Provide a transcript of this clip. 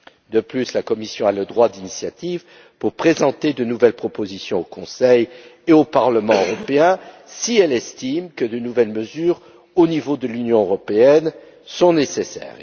De plus, la Commission a le droit d'initiative pour présenter de nouvelles propositions au Conseil et au Parlement européen, si elle estime que de nouvelles mesures au niveau de l'Union européenne sont nécessaires.